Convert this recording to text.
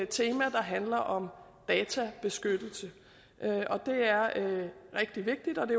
tema der handler om databeskyttelse det er rigtig vigtigt og det